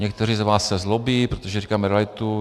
Někteří z vás se zlobí, protože říkáme realitu.